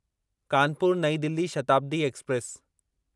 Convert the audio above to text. कानपुर नईं दिल्ली शताब्दी एक्सप्रेस